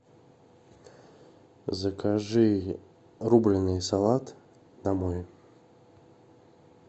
закажи рубленый салат домой